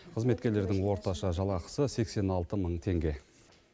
қызметкерлердің орташа жалақысы сексен алты мың теңге